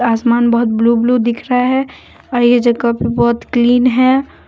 आसमान बहुत blue blue दिख रहा है और ये जगह भी बहुत क्लीन है।